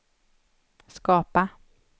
skapa